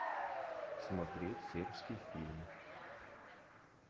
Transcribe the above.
смотреть сербский фильм